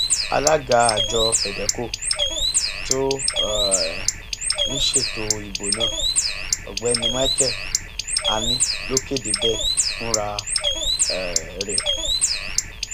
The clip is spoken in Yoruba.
alága àjọ fedeco tó um ń ṣètò ìbò náà ọgbẹni michael ani ló kéde bẹẹ fúnra um rẹ